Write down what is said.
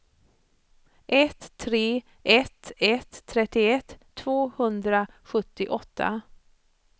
ett tre ett ett trettioett tvåhundrasjuttioåtta